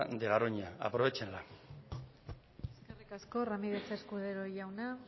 de garoña aprovéchenla eskerrik asko ramirez escudero jauna